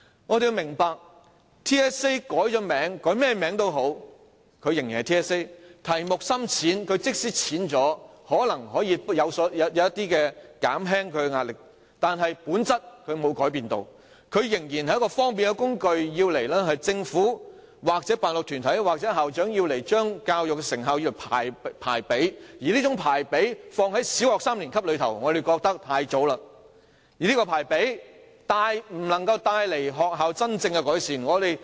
我們要明白，無論 TSA 改了甚麼名稱，它仍然是 TSA， 即使題目淺了，或可減輕學生的壓力，但本質並無改變，它仍然是一種方便的工具，供政府、辦學團體或校長用以將教育成效排比，而在小學三年級學生身上作出這種排比，我們覺得太早了，而且不能為學校帶來真正的改善。